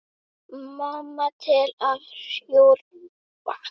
Mamma til að hjúfra.